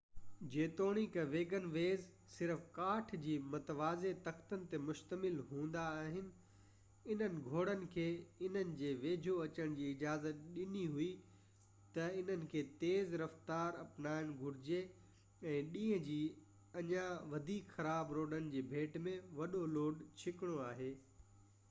جيتوڻيڪ wagonways صرف ڪاٺ جي متوازي تختن تي مشتمل هوندا آهن انهن گهوڙن کي انهن جي ويجهو اچڻ جي اجازت ڏني هئي ته انهن کي تيز رفتار اپنائڻ گهرجي ۽ ڏينهن جي اڃان وڌيڪ خراب روڊن جي ڀيٽ ۾ وڏو لوڊ ڇڪڻو آهي